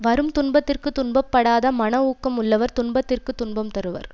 வரும் துன்பத்திற்கு துன்பப்படாத மன ஊக்கம் உள்ளவர் துன்பத்திற்கு துன்பம் தருவர்